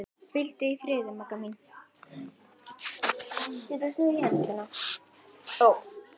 Hvíldu í friði, Magga mín.